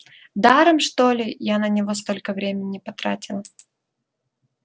даром что ли я на него столько времени потратила